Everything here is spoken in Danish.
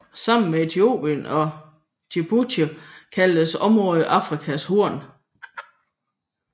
Sammen med Etiopien og Djibouti kaldes området Afrikas Horn